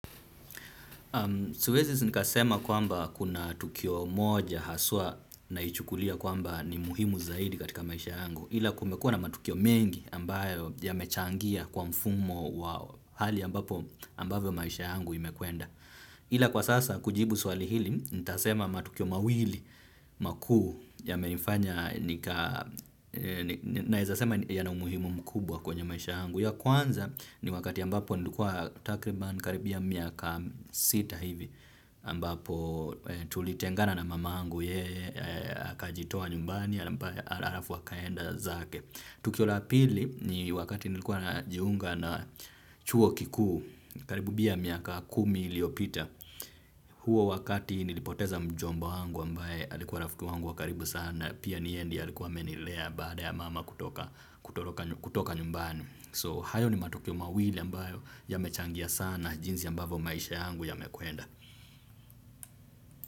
Siwezi nikasema kwamba kuna tukio moja haswa naichukulia kwamba ni muhimu zaidi katika maisha yangu ila kumekuwa na matukio mengi ambayo yamechangia kwa mfumo wa hali ambapo ambayo maisha yangu imekwenda. Ila kwa sasa kujibu swali hili, ntasema matukio mawili makuu yamenifanya, naezasema yana umuhimu mkubwa kwenye maisha yangu. Ya kwanza ni wakati ambapo nilikuwa takriban karibia miaka sita hivi ambapo tulitengana na mamangu yeye, akajitoa nyumbani, alafu akaenda zake. Tukio la pili ni wakati nilikuwa najiunga na chuo kikuu, karibu bia miaka kumi iliopita, huo wakati nilipoteza mjomba wangu ambaye alikuwa rafiki wangu wa karibu sana, pia ni yeye ndiye alikuwa amenilea baada ya mama kutoka nyumbani. So hayo ni matukio mawili ambayo yamechangia sana jinsi ambavyo maisha yangu yamekwenda.